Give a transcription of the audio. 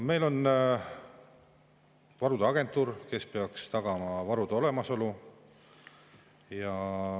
Meil on varude agentuur, kes peaks tagama varude olemasolu.